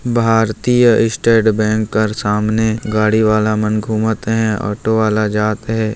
भारतीय state bank कर सामने गाड़ी वाला मन घूमत हे ओटो वाल मन जात हे ।